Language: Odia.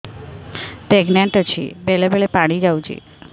ପ୍ରେଗନାଂଟ ଅଛି ବେଳେ ବେଳେ ପାଣି ଯାଉଛି